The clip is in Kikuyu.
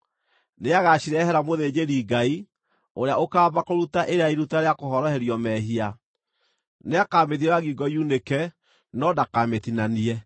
Nĩagacirehera mũthĩnjĩri-Ngai, ũrĩa ũkaamba kũruta ĩrĩa ya iruta rĩa kũhoroherio mehia. Nĩakamĩthiora ngingo yunĩke no ndakamĩtinanie,